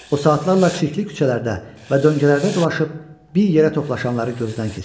O saatlarla çirkli küçələrdə və döngələrdə dolaşıb bir yerə toplaşanları gözdən keçirtdi.